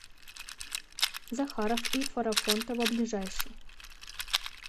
захаров и фарафонтова ближайший